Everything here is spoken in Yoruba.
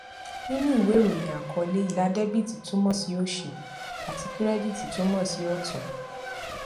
nínú ìwé ìròyìn àkọlé ilà debiti túmọ sí òsì àti kirediti túmọ sí ọtún